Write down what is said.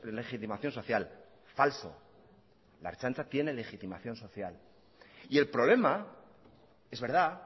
legitimación social falso la ertzaintza tiene legitimación social y el problema es verdad